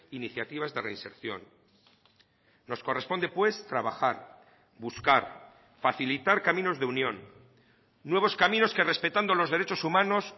iniciativas de reinserción nos corresponde pues trabajar buscar facilitar caminos de unión nuevos caminos que respetando los derechos humanos